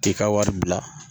K'i ka wari bila